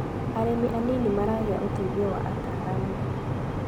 Arĩmi anini maragia ũteithio wa ataramu.